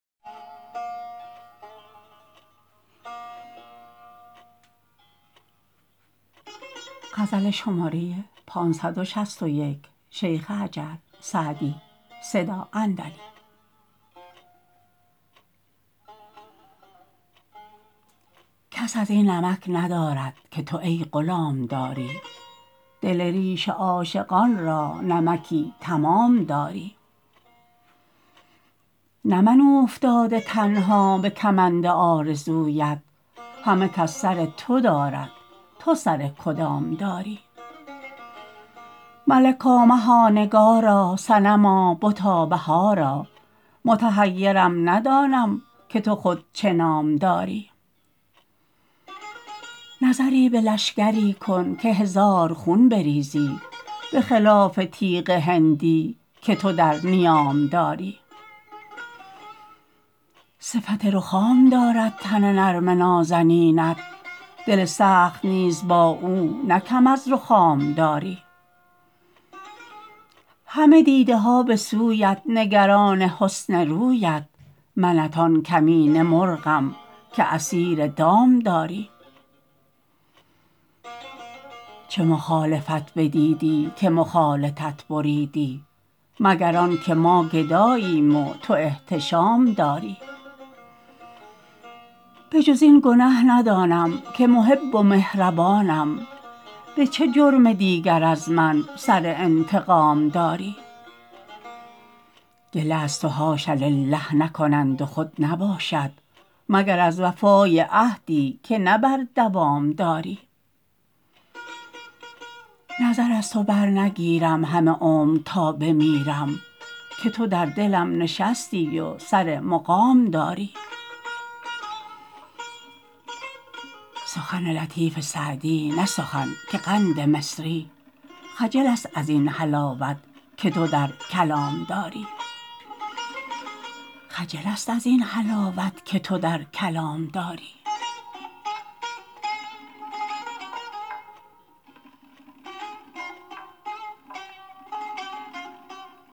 کس از این نمک ندارد که تو ای غلام داری دل ریش عاشقان را نمکی تمام داری نه من اوفتاده تنها به کمند آرزویت همه کس سر تو دارد تو سر کدام داری ملکا مها نگارا صنما بتا بهارا متحیرم ندانم که تو خود چه نام داری نظری به لشکری کن که هزار خون بریزی به خلاف تیغ هندی که تو در نیام داری صفت رخام دارد تن نرم نازنینت دل سخت نیز با او نه کم از رخام داری همه دیده ها به سویت نگران حسن رویت منت آن کمینه مرغم که اسیر دام داری چه مخالفت بدیدی که مخالطت بریدی مگر آن که ما گداییم و تو احتشام داری به جز این گنه ندانم که محب و مهربانم به چه جرم دیگر از من سر انتقام داری گله از تو حاش لله نکنند و خود نباشد مگر از وفای عهدی که نه بر دوام داری نظر از تو برنگیرم همه عمر تا بمیرم که تو در دلم نشستی و سر مقام داری سخن لطیف سعدی نه سخن که قند مصری خجل است از این حلاوت که تو در کلام داری